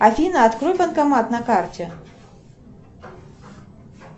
афина открой банкомат на карте